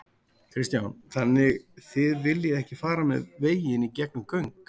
Kristján: Þannig þið viljið ekki fara með veginn í gegnum göng?